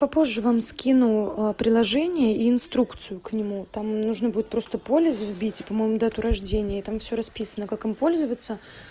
попозже вам скину а приложение и инструкцию к нему там нужно будет просто полис вбить и по-моему дату рождения и там всё расписано как им пользоваться